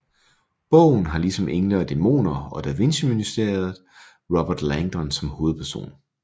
Bogen har ligesom Engle og Dæmoner og Da Vinci Mysteriet Robert Langdon som hovedperson